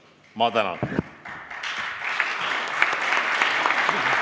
Ma tänan!